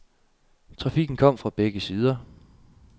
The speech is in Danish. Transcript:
Trafikken kom fra begge sider.